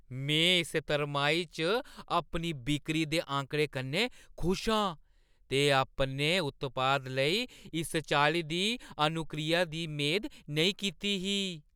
में इस तरमाही च अपनी बिक्करी दे आंकड़ें कन्नै खुश आं ते अपने उत्पाद लेई इस चाल्ली दी अनुक्रिया दी मेद नेईं कीती ही।